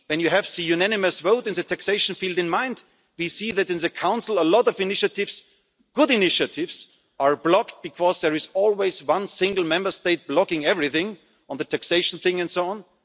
can work? When you have the unanimous vote in the taxation field in mind, we see that in the Council a lot of initiatives good initiatives are blocked because there is always one single Member State blocking everything, on taxation